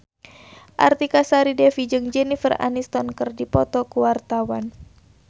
Artika Sari Devi jeung Jennifer Aniston keur dipoto ku wartawan